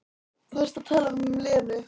Þú varst að tala um Lenu.